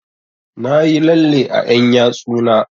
Na yi lalle a ƴan yatsu na